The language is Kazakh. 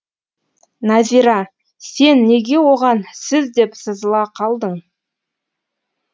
назира сен неге оған сіз деп сызыла қалдың